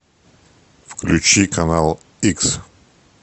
включи канал икс